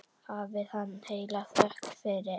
Hafi hann heila þökk fyrir.